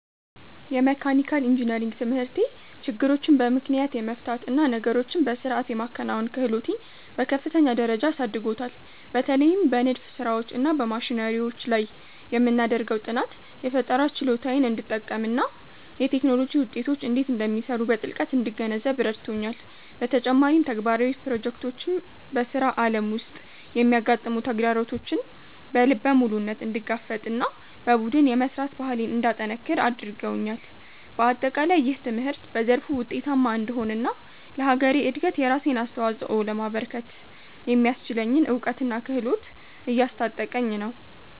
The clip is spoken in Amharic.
የመካኒካል ኢንጂነሪንግ ትምህርቴ ችግሮችን በምክንያት የመፍታት እና ነገሮችን በሥርዓት የማከናወን ክህሎቴን በከፍተኛ ደረጃ አሳድጎታል። በተለይም በንድፍ ሥራዎች እና በማሽነሪዎች ላይ የምናደርገው ጥናት፣ የፈጠራ ችሎታዬን እንድጠቀምና የቴክኖሎጂ ውጤቶች እንዴት እንደሚሰሩ በጥልቀት እንድገነዘብ ረድቶኛል። በተጨማሪም፣ ተግባራዊ ፕሮጀክቶች በሥራ ዓለም ውስጥ የሚያጋጥሙ ተግዳሮቶችን በልበ ሙሉነት እንድጋፈጥና በቡድን የመሥራት ባህሌን እንዳጠነክር አድርገውኛል። በአጠቃላይ፣ ይህ ትምህርት በዘርፉ ውጤታማ እንድሆንና ለሀገሬ እድገት የራሴን አስተዋፅኦ ለማበርከት የሚያስችለኝን እውቀትና ክህሎት እያስታጠቀኝ ነው።